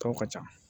Tɔw ka ca